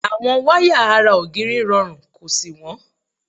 Àwọn wáyà ara ògiri rọrùn kò sì wọ́n.